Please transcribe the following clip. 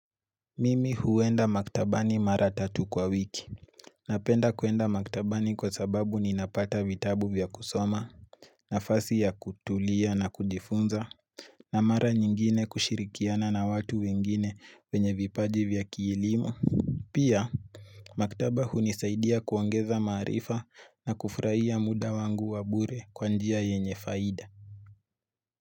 Mimi huenda maktabani mara tatu kwa wiki Napenda kuenda maktabani kwa sababu ninapata vitabu vya kusoma nafasi ya kutulia na kujifunza na mara nyingine kushirikiana na watu wengine wenye vipaji vya kielimu Pia maktaba hunisaidia kuongeza maarifa na kufurahia muda wangu wa bure kwa njia yenye faida.